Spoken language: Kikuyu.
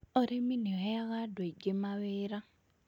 Ũrĩmi nĩ ũheaga andũ aingĩ mawĩra.